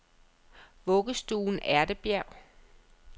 Vuggestuen Ærtebjerg